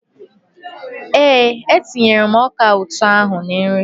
Ee, e tinyere m ọka ụtọ ahụ na nri.